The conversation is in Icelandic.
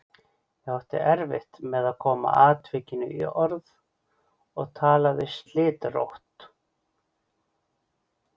Ég átti erfitt með að koma atvikinu í orð og talaði slitrótt.